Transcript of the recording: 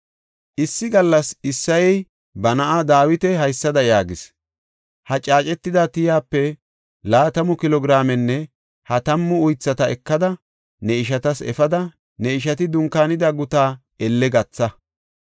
Issi gallas Isseyey ba na7aa Dawita haysada yaagis; “Ha caacetida tiyape laatamu kilo giraamenne ha tammu uythata ekada ne ishatas efada ne ishati dunkaanida gutaa elle gatha.